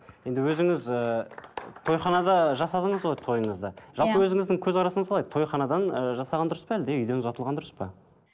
енді өзіңіз ііі тойханада жасадыңыз ғой тойыңызды иә жалпы өзіңіздің көзқарасыңыз қалай тойханадан ы жасаған дұрыс па әлде үйден ұзатылған дұрыс па